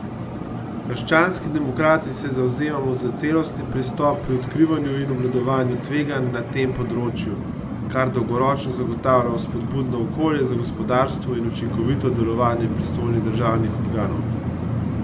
Krščanski demokrati se zavzemamo za celostni pristop pri odkrivanju in obvladovanju tveganj na tem področju, kar dolgoročno zagotavlja vzpodbudno okolje za gospodarstvo in učinkovito delovanje pristojnih državnih organov.